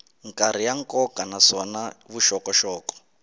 karhi ya nkoka naswona vuxokoxoko